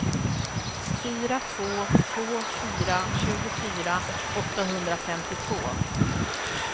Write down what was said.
fyra två två fyra tjugofyra åttahundrafemtiotvå